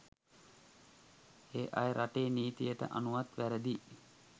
ඒ අය රටේ නීතියට අනුවත් වැරදියි.